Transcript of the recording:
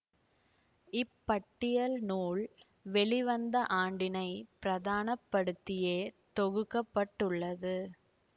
இப்பட்டியல் நூல் வெளிவந்த ஆண்டினை பிரதான படுத்தியே தொகுக்க பட்டுள்ளது